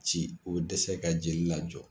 Ci o tɛ se ka jeli lajɔ.